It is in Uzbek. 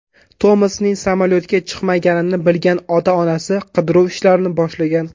Tomasning samolyotga chiqmaganini bilgan ota-onasi qidiruv ishlarini boshlagan.